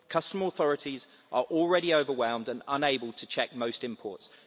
Customs authorities are already overwhelmed and unable to check most imports.